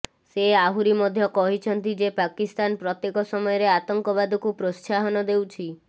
ସେ ଆହୁରି ମଧ୍ୟ କହିଛନ୍ତି ଯେ ପାକିସ୍ତାନ ପ୍ରତ୍ୟେକ ସମୟରେ ଆତଙ୍କବାଦକୁ ପ୍ରୋତ୍ସାହନ ଦେଉଛି